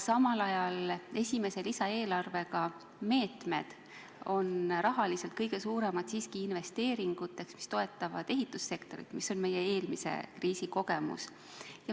Samal ajal on esimese lisaeelarve meetmed rahaliselt kõige suuremad siiski selliste investeeringute tegemiseks, mis toetavad ehitussektorit, see on meie eelmise kriisi kogemus.